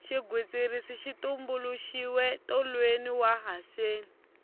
xigwitsirisi xi tumbuluxiwe tolweni wa haseni